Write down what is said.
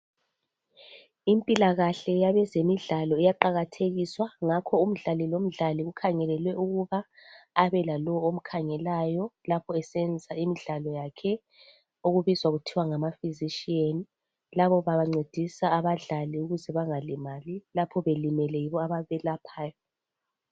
Impilakahle yabezemidlalo iyaqakathekiswa ngakho umdlali lomdlali kukhangelelwe ukuba abe lalowo omkhangelayo lapho esenza imidlalo yakhe okubizwa kuthiwa ngama physician labo bancedisa abadlali ukuze bangalimali lapho belimele yibo ababelaphayo.